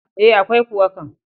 E, akwai kuwa kam.